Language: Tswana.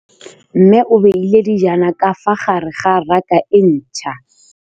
Mmê o beile dijana ka fa gare ga raka e ntšha.